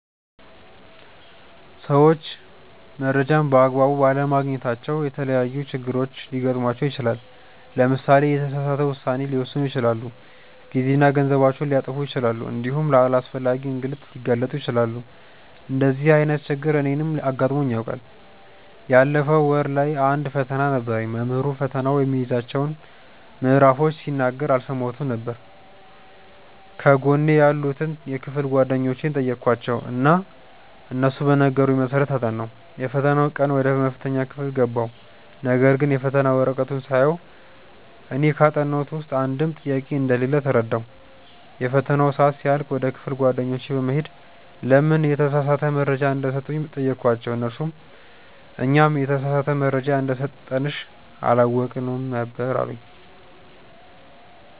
ሰዎች መረጃን በ አግባቡ ባለማግኘታቸው የተለያዪ ችግሮች ሊገጥማቸው ይችላል። ለምሳሌ የተሳሳተ ውሳኔ ሊወስኑ ይችላሉ፣ ጊዜና ገንዘባቸውን ሊያጠፉ ይችላሉ እንዲሁም ለአላስፈላጊ እንግልት ሊጋለጡ ይችላሉ። እንደዚህ አይነት ችግር እኔንም አጋጥሞኝ ያውቃል። ባለፈው ወር ላይ አንድ ፈተና ነበረኝ። መምህሩ ፈተናው የሚይዛቸውን ምዕራፎች ሲናገር አልሰማሁትም ነበር። ከጎኔ ያሉትን የክፍል ጓደኞቼን ጠየኳቸው እና እነሱ በነገሩኝ መሰረት አጠናሁ። የፈተናው ቀን ወደ መፈተኛ ክፍል ገባሁ ነገርግን የፈተና ወረቀቱን ሳየው እኔ ካጠናሁት ውስጥ አንድም ጥያቄ እንደሌለ ተረዳሁ። የፈተናው ሰአት ሲያልቅ ወደ ክፍል ጓደኞቼ በመሄድ ለምን የተሳሳተ መረጃ እንደሰጡኝ ጠየኳቸው እነርሱም "እኛም የተሳሳተ መረጃ እንደሰጠንሽ አላወቅንም ነበር አሉኝ"።